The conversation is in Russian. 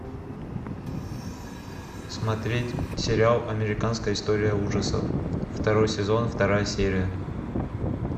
смотреть сериал американская история ужасов второй сезон вторая серия